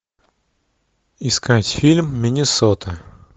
искать фильм миннесота